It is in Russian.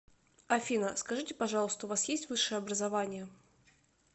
афина скажите пожалуйста у вас есть высшее образование